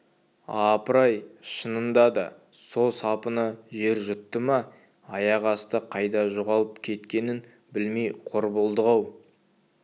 апыр-ай шынында да со сапыны жер жұтты ма аяқ асты қайда жоғалып кеткенін білмей қор болдық-ау